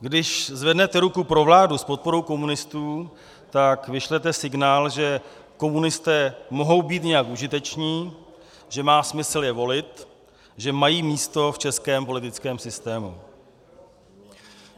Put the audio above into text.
Když zvednete ruku pro vládu s podporou komunistů, tak vyšlete signál, že komunisté mohou být nějak užiteční, že má smysl je volit, že mají místo v českém politickém systému.